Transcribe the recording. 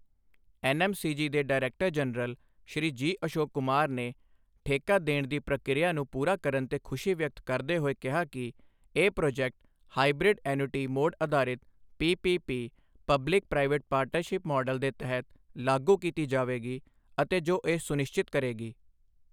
NMCG ਦੇ director general Shri G. Ashok Kumar ਨੇ ਠੇਕਾ ਦੇਣ ਦੀ ਪ੍ਰਕਿਰਿਆ ਨੂੰ ਪੂਰਾ ਕਰਨ ਤੇ ਖੁਸ਼ੀ ਵਿਅਕਤ ਕਰਦੇ ਹੋਏ ਕਿਹਾ ਕਿ ਇਹ ਪ੍ਰੋਜੈਕਟ ਹਾਈਬ੍ਰਿਡ ਐਨੂਅਟੀ ਮੋਡ ਅਧਾਰਿਤ PPP public private partnership model ਦੇ ਤਹਿਤ ਲਾਗੂ ਕੀਤੀ ਜਾਵੇਗੀ ਅਤੇ ਜੋ ਇਹ ਸੁਨਿਸ਼ਚਿਤ ਕਰੇਗੀ।